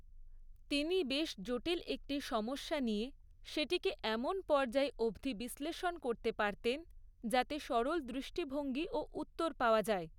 তিনি বেশ জটিল একটি সমস্যা নিয়ে সেটিকে এমন পর্যায় অবধি বিশ্লেষণ করতে পারতেন যাতে সরল দৃষ্টিভঙ্গি ও উত্তর পাওয়া যায়।